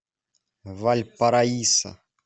вальпараисо